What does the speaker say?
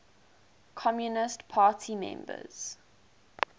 communist party members